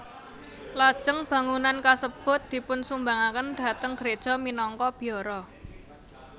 Lajeng bangunan kasebut dipunsumbangaken dhateng gréja minangka biara